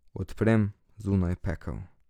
Odprem, zunaj pekel.